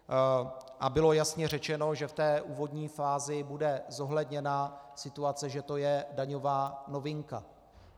A bylo jasně řečeno, že v té úvodní fázi bude zohledněna situace, že to je daňová novinka.